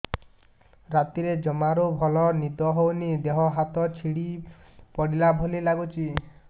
ରାତିରେ ଜମାରୁ ଭଲ ନିଦ ହଉନି ଦେହ ହାତ ଛିଡି ପଡିଲା ଭଳିଆ ଲାଗୁଚି